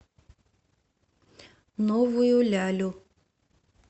новую лялю